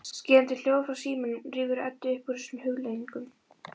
Skerandi hljóð frá símanum rífur Eddu upp úr þessum hugleiðingum.